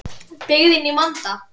Byggðin í vanda.